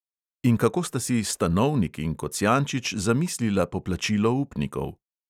In kako sta si stanovnik in kocjančič zamislila poplačilo upnikov?